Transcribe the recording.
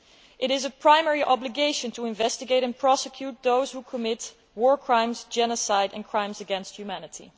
It is a primary obligation to investigate and prosecute those who commit war crimes, genocide and crimes against humanity.